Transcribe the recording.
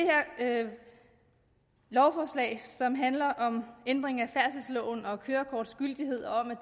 her lovforslag som handler om ændring af færdselsloven og kørekorts gyldighed om at